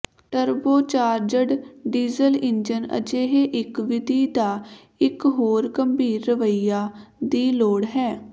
turbocharged diesel engine ਅਜਿਹੇ ਇੱਕ ਵਿਧੀ ਦਾ ਇੱਕ ਹੋਰ ਗੰਭੀਰ ਰਵੱਈਆ ਦੀ ਲੋੜ ਹੈ